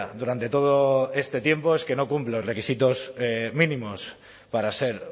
durante todo este tiempo es que no cumple los requisitos mínimos para ser